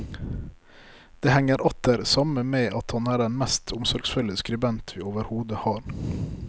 Det henger atter samme med at han er den mest omsorgsfulle skribent vi overhodet har.